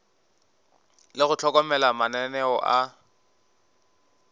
le go hlokomela mananeo a